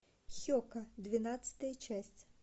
хека двенадцатая часть